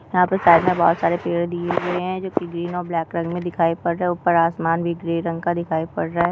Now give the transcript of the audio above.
यहाँ पे साइड मे बहुत सारे पेड़ दिये गए है जोकि ग्रीन और ब्लॅक कलर मे दिखाई पड़ रहे है उपर आसमान भी ग्रे रंग का दिखाई पड़ रहा है।